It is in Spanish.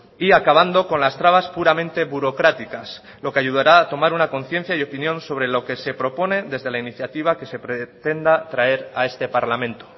y acabando con las trabas puramente burocráticas lo que ayudará a tomar una conciencia y opinión sobre lo que se propone desde la iniciativa que se pretenda traer a este parlamento